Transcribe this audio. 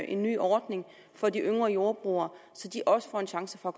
en ny ordning for de yngre jordbrugere så de også får en chance for